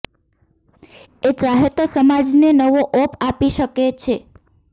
એ ચાહે તો સમાજને નવો ઓપ આપી શકે છે